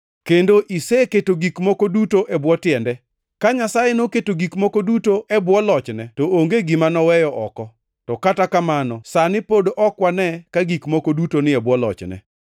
kendo iseketo gik moko duto e bwo tiende.” + 2:8 \+xt Zab 8:4-6\+xt* Ka Nyasaye noketo gik moko duto e bwo lochne to onge gima noweyo oko. To kata kamano sani pod ok wane ka gik moko duto ni e bwo lochne.